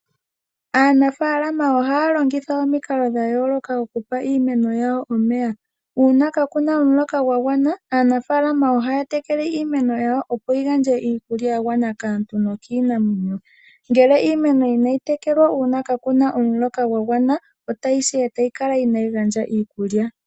Aanafalama ohaya longitha omikalo dha yooloka okupa iimeno yawo omeya. Uuna kaa kana omuloka gwa gwana aanafalama ohaya tekele iimeno yawo, opo yi gandje iikulya ya gwana kaantu nokiinamwenyo. Ngele iimeno inayi tekelwa uuna kaa ku na omuloka gwa gwana otayi si e tayi kala inayi gandja iikulya.